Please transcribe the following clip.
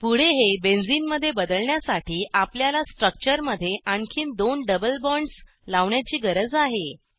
पुढे हे बेन्झीन मध्ये बदलण्यासाठी आपल्याला स्ट्रक्चरमध्ये आणखीन दोन डबल बॉन्ड्स लावण्याची गरज आहे